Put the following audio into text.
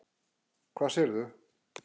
Hvað sérðu?